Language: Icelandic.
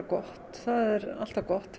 gott það er alltaf gott